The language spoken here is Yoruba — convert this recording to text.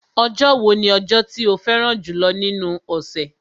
Ọjọ́ wo ni ọjọ́ tí o fẹ́ràn jùlọ́ nínú ọ̀sẹ̀?